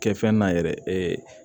Kɛ fɛn na yɛrɛ